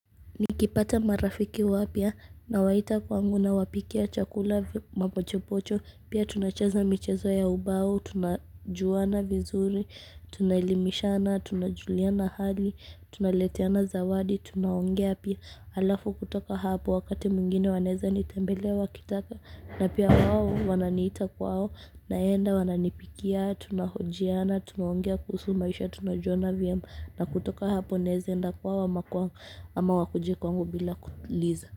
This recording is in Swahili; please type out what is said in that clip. Nikipata marafiki wapya nawaita kwangu, nawapikia chakula, mapochopocho, pia tunacheza michezo ya ubao, tunajuana vizuri. Tunaelimishana, tunajuliana hali, tunaleteana zawadi, tunaongea pia. Halafu kutoka hapo wakati mwingine wanaweza nitembelea wakitaka. Na pia wao wananiita kwao, naenda, wananipikia, tunahojiana, tunaongea kuhusu maisha, tunajuana vyema. Na kutoka hapo naweza kwenda kwao ama wakuje kwangu bila kuuliza.